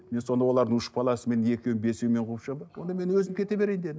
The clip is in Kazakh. мен сонда олардың үш баласымен екеуі бесеуімен қуып шығамын ба онда мен өзім кете берейін дедім